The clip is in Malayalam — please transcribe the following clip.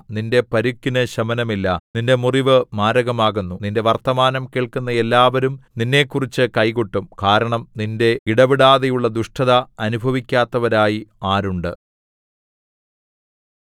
നിന്റെ പരുക്കിന് ശമനമില്ല നിന്റെ മുറിവ് മാരകമാകുന്നു നിന്റെ വർത്തമാനം കേൾക്കുന്ന എല്ലാവരും നിന്നെക്കുറിച്ച് കൈകൊട്ടും കാരണം നിന്റെ ഇടവിടാതെയുള്ള ദുഷ്ടത അനുഭവിക്കാത്തവരായി ആരുണ്ട്